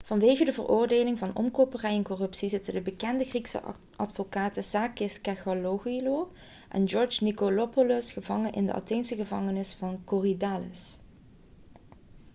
vanwege de veroordeling voor omkoperij en corruptie zitten de bekende griekse advocaten sakis kechagioglou en george nikolakopoulos gevangen in de atheense gevangenis van korydallus